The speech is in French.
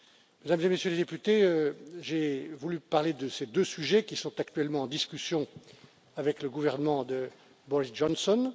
Mesdames et Messieurs les députés, j'ai voulu parler de ces deux sujets qui sont actuellement en discussion avec le gouvernement de Boris Johnson.